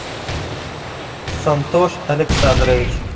сантош александрович